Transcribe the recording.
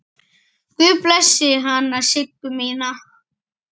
Guð blessi hana Siggu mína.